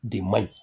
De man ɲi